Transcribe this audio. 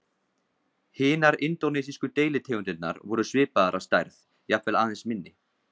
Hinar indónesísku deilitegundirnar voru svipaðar að stærð, jafnvel aðeins minni.